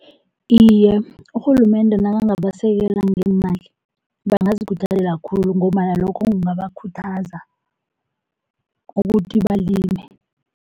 Iye, urhulumende nakangabasekela ngeemali bangazikhuthalela khulu ngombana lokho kungabakhuthaza ukuthi balime.